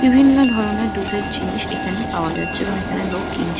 বিভিন্ন ধরণের দুধের জিনিস এখানে পাওয়া যাচ্ছে এবং এখানে লোক কিনছে।